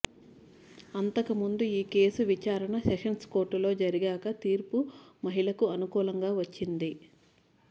అంతక ముందు ఈ కేసు విచారణ సెషన్స్ కోర్టులో జరగ్గా తీర్పు మహిళకు అనుకూలంగా వచ్చింది